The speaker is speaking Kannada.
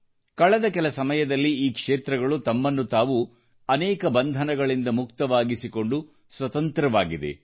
ಕಳೆದ ಕೆಲಸಮಯದಲ್ಲಿ ಈ ಕ್ಷೇತ್ರಗಳು ತಮ್ಮನ್ನು ತಾವು ಅನೇಕ ಬಂಧನಗಳಿಂದ ಮುಕ್ತವಾಗಿಸಿಕೊಂಡು ಸ್ವತಂತ್ರವಾಗಿದೆ